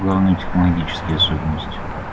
главные технологические особенности